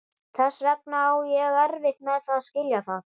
Þess vegna á ég erfitt með að skilja þetta.